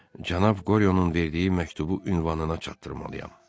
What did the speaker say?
Cənab Qoryonun verdiyi məktubu ünvanına çatdırmalıyam.